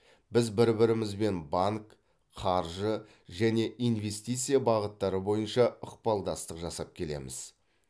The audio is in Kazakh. біз бір бірімізбен банк қаржы және инвестиция бағыттары бойынша ықпалдастық жасап келеміз